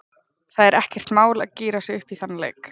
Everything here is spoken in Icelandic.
Það er ekkert mál að gíra sig upp í þann leik.